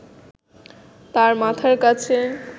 তাঁর মাথার কাছে